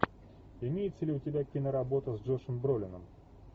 имеется ли у тебя киноработа с джошем бролином